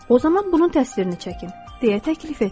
O zaman bunun təsvirini çəkin, deyə təklif etdim.